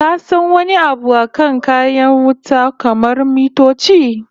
Ka san wani abu akan kayan wuta kamar mitoci?